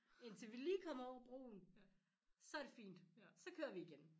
Indtil vi lige kommer over broen så det fint så kører vi igen